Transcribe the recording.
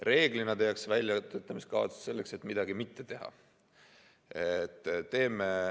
Reeglina tehakse väljatöötamiskavatsus selleks, et midagi mitte teha.